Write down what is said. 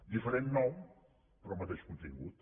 diferent nom però mateix contin·gut